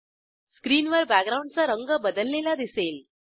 स्क्रीनवर बॅकग्राऊंडचा रंग बदललेला दिसेल